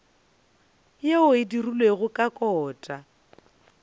yeo e dirilwego ka kota